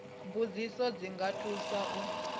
mbudziso dzi nga thusa u